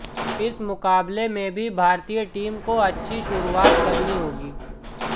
इस मुकाबले में भी भारतीय टीम को अछि शुरुवात करनी होगी